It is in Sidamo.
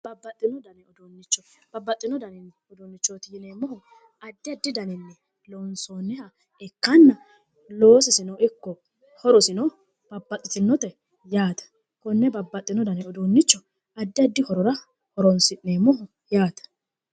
babbaxino dani uduunnicho babbaxino dani uduunnichooti yineemmohu addia addi daninni loonsoonniha ikkanna loosisino ikko horosino babbaxitinnote yaate konne babbaxino dani uduunnicho addi addi horora horoonsi'neemmoho yaate